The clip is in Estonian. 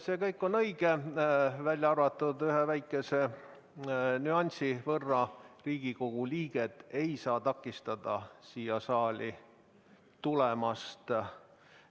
See kõik on õige, välja arvatud üks väike nüanss: Riigikogu liiget ei saa takistada siia saali tulemast,